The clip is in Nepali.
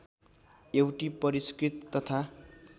एउटी परिस्कृत तथा